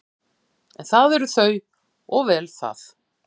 En það eru þau og vel það.